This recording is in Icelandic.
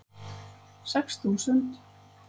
Sex þúsund